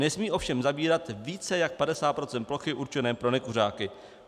Nesmí ovšem zabírat více jak 50 % plochy určené pro nekuřáky.